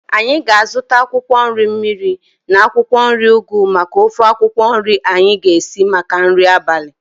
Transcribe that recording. Anyị ga-azuta akwụkwọ nri mmiri na akwụkwọ nri ugu maka ofe akwụkwọ nri anyi ga-esi maka nri abalị